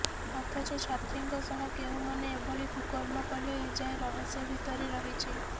ଅଥଚ ଛାତ୍ରୀଙ୍କ ସହ କେଉଁମାନେ ଏଭଳି କୁକର୍ମ କଲେ ଏଯାଏଁ ରହସ୍ୟ ଭିତରେ ରହିଛି